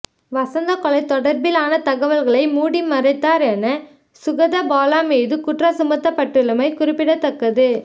லசந்த கொலை தொடர்பிலான தகவல்களை மூடி மறைத்தார் என சுகதபால மீது குற்றம் சுமத்தப்பட்டுள்ளமை குறிப்பிடத்தக்கது